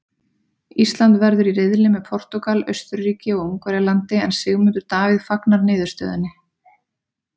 Ísland verður í riðli með Portúgal, Austurríki og Ungverjalandi en Sigmundur Davíð fagnar niðurstöðunni.